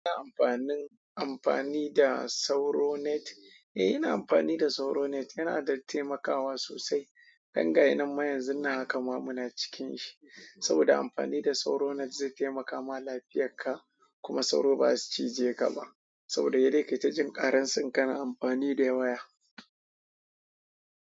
Amfanin, amfani da sauro net. Eh ina amfani da sauro net yana da taimakawa sosai. Dan gashi nan ma yanzun haka ma muna cikin shi. Saboda amfani da sauro net zai taimaka ma lafiyarka kuma sauro baza su cije ka ba. Saboda sai dai kaita jin ƙaransa in kana amfani da waya.